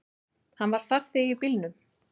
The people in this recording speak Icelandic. Hann var farþegi í bílnum.